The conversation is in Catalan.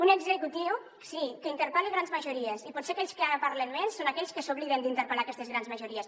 un executiu sí que interpel·la grans majories i potser aquells que ara parlen més són aquells que s’obliden d’interpel·lar aquestes grans majories